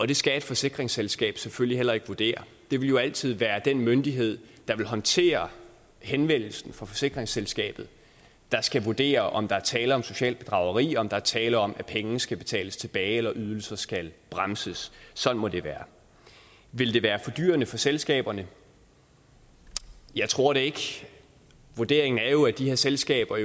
det skal et forsikringsselskab selvfølgelig heller ikke vurdere det vil jo altid være den myndighed der vil håndtere henvendelsen fra forsikringsselskabet der skal vurdere om der er tale om socialt bedrageri om der er tale om at pengene skal betales tilbage eller ydelser skal bremses sådan må det være vil det være fordyrende for selskaberne jeg tror det ikke vurderingen er jo at de her selskaber